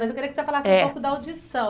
Mas eu queria que você falasse um pouco da audição.